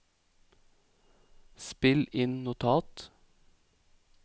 spill inn notat